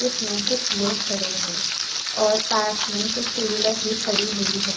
इस में कुछ लोग खड़े है और पास में कुछ टू व्हीलर भी खड़ी हुई है।